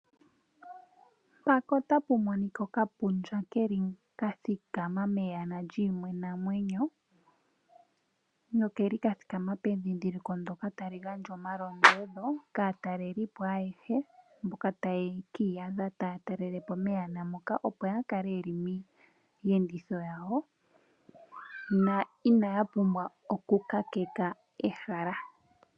Okamenye ka thikama meyana lyiinamwenyo nokeli ka thikama pendhindhiliko ndyoka tali gandja omalombwelo kaatalelipo ayehe mboka taya ki iyadha taya talele po meyana moka, opo ya kale ye li miiyenditho yawo no inaya pumbwa okukakeka ehala.